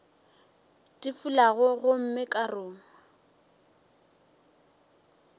di fulago gomme ka ruma